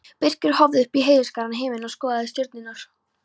Birkir horfði upp í heiðskíran himininn og skoðaði stjörnurnar.